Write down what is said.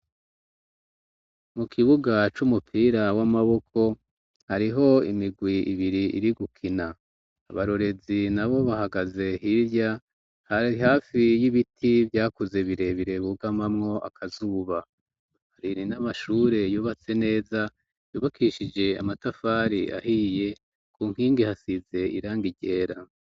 Mu kibuga c'umupira w'amaboko hariho imigwi ibiri iri gukina abarorezi na bo bahagaze hirya hafi y'ibiti vyakuze birebire bugamamwo akazuba, hari n'amashure yubatse neza yubukishije amatafari ahiye ku nkingi hasize irangi ryera.